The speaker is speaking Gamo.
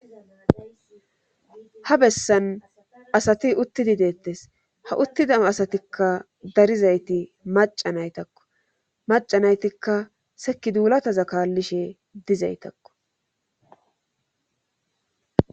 Ha bessan asati uttidi deettes ha uttida asatikka darizayti macanaytakko macanaytikka seki duulataza kaallishe dizaytakko